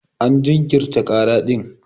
An jinkirta kara din.